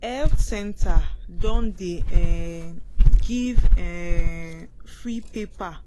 health centre don dey um give um free paper